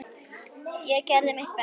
Ég gerði mitt besta.